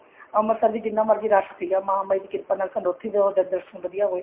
ਅੰਮ੍ਰਿਤਸਰ ਵੀ ਜਿੰਨਾ ਮਰਜ਼ੀ ਰਸ਼ ਸੀਗਾ ਮਹਾ ਮਾਈ ਦੀ ਕਿਰਪਾ ਨਾਲ ਸਾਨੂੰ ਉੱਥੇ ਦਰਸ਼ਨ ਵਧੀਆ ਹੋਏ